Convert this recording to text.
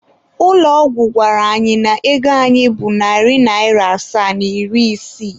Ụlọ ọgwụ gwara anyị na ego anyị bụ narị naịra asaa na iri isii.